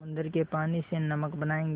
समुद्र के पानी से नमक बनायेंगे